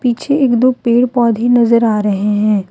पीछे एक दो पेड़ पौधे नजर आ रहे हैं।